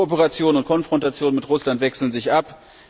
Kooperation und Konfrontation mit Russland wechseln sich ab.